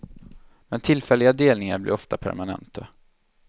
Men tillfälliga delningar blir ofta permanenta.